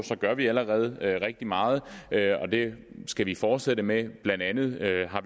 gør vi allerede rigtig meget og det skal vi fortsætte med blandt andet